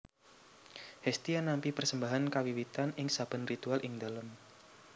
Hestia nampi persembahan kawiwitan ing sabén ritual ing dalém